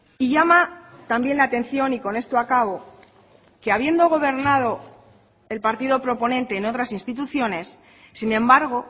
y llama también la atención y con esto acabo que habiendo gobernado el partido proponente en otras instituciones sin embargo